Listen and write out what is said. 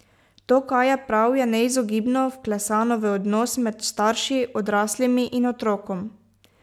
To, kaj je prav, je neizogibno vklesano v odnos med starši, odraslimi, in otrokom.